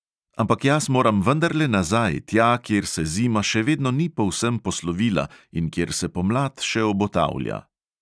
Ampak jaz moram vendarle nazaj, tja, kjer se zima še vedno ni povsem poslovila in kjer se pomlad še obotavlja.